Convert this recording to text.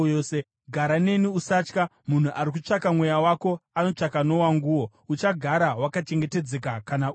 Gara neni; usatya; munhu ari kutsvaka mweya wako anotsvaka nowanguwo. Uchagara wakachengetedzeka kana uneni.”